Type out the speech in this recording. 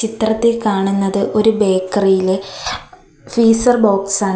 ചിത്രത്തിൽ കാണുന്നത് ഒരു ബേക്കറി യിലെ ഫീസർ ബോക്സ് ആണ്.